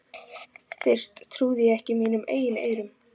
Fyrst trúði ég ekki mínum eigin eyrum.